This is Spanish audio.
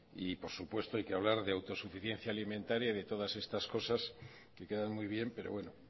y por supuesto hay que hablar de autosuficiencia alimentaria y de todas estas cosas que quedan muy bien pero bueno